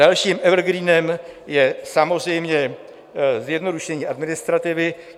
Dalším evergreenem je samozřejmě zjednodušení administrativy.